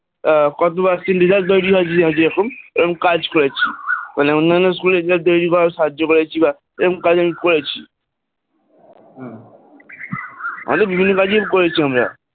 ah device by dvice এরকম কাজ করেছি মানে অন্যান্য school এর যা সাহায্য করেছি বা এরকম কাজ আমি করেছি হয়ত বাজিয়ে করেছি আমরা,